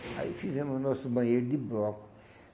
Aí fizemos o nosso banheiro de bloco.